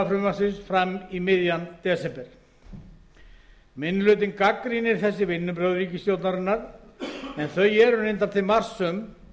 fram í miðjan desember minni hlutinn gagnrýnir þessi vinnubrögð ríkisstjórnarinnar en þau eru reyndar til marks um